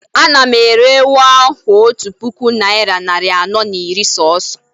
Anam ere ewu a otu puku naira nari ano na iri soso